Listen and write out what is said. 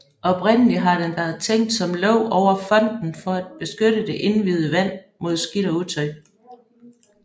Oprindelig har den været tænkt som låg over fonten for at beskytte det indviede vand mod skidt og utøj